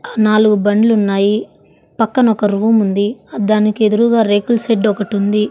నాలుగు బండ్లున్నాయి పక్కన ఒక రూమ్ ఉంది దానికెదురూగా రేకుల షెడ్ ఒకటి ఉంది.